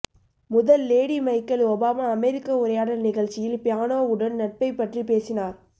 முதல் lady Michelle Obama அமெரிக்க உரையாடல் நிகழ்ச்சியில் பியானோவுடன் நட்பைப் பற்றி பேசினார்